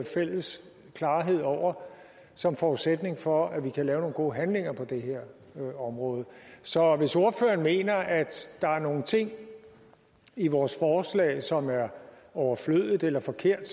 fælles klarhed over som forudsætning for at vi kan lave nogle gode handlinger på det her område så hvis ordføreren mener at der er nogle ting i vores forslag som er overflødige eller forkerte